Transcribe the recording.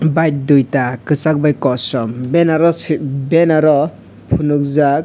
bike dui ta kosak bai kosom benaro si benaro ponogjak.